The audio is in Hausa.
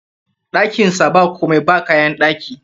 Ɗakin sa ba komai, ba kayan ɗaki